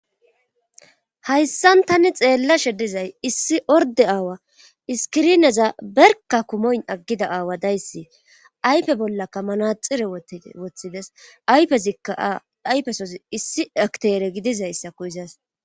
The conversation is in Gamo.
Hayssan tani xeella she dizay issi orde aawa iskirineza berka kumoyn aggida aawa dayssi aype bollakka manaxire woti woththides yfezikka ayfesos issi akteere gidizayssa ko izas.